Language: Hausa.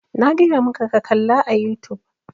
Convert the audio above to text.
Na gaya maka ka kalla a youtube!